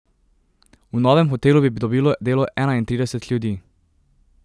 V novem hotelu bi dobilo delo enaintrideset ljudi.